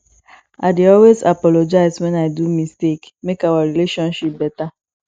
i dey always apologize wen i do mistake make our relationship beta